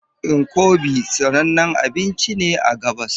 Nkwobi sanannen abinci ne a gabas